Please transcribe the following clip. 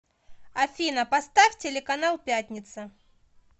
афина поставь телеканал пятница